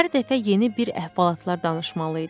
Hər dəfə yeni bir əhvalatlar danışmalı idi.